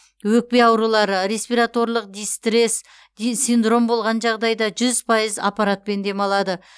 өкпе аурулары респираторлық дистресс синдром болған жағдайда жүз пайыз аппаратпен демалады